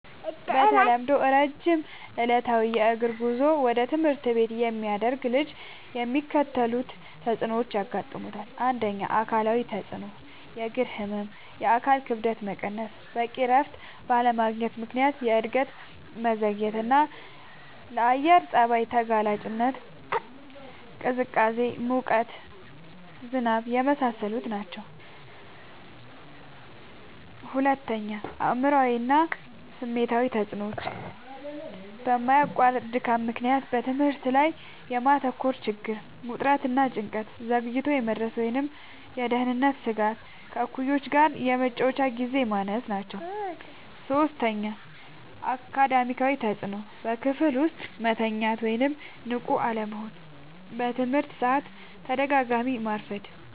በተለምዶ ረጅም ዕለታዊ የእግር ጉዞ ወደ ትምህርት ቤት የሚያደርግ ልጅ የሚከተሉት ተጽዕኖዎች ያጋጥሙታል። ፩. አካላዊ ተጽዕኖዎች፦ · የእግር ህመም፣ የአካል ክብደት መቀነስ፣ በቂ እረፍት ባለማግኘት ምክንያት የእድገት መዘግየትና፣ ለአየር ጸባይ ተጋላጭነት (ቅዝቃዜ፣ ሙቀት፣ ዝናብ) የመሳሰሉት ናቸዉ። ፪. አእምሯዊ እና ስሜታዊ ተጽዕኖዎች፦ በማያቋርጥ ድካም ምክንያት በትምህርት ላይ የማተኮር ችግር፣ ውጥረት እና ጭንቀት፣ ዘግይቶ የመድረስ ወይም የደህንነት ስጋት፣ ከእኩዮች ጋር የመጫወቻ ግዜ ማነስ ናቸዉ። ፫. አካዳሚያዊ ተጽዕኖዎች፦ · በክፍል ውስጥ መተኛት ወይም ንቁ አለመሆን፣ በትምህርት ሰዓት በተደጋጋሚ ማርፈድ፣